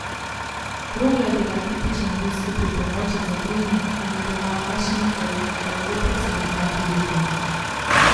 Krogla je bila tipičen ruski pripomoček za trening in je bila v našem okolju dolgo precej nepriljubljena.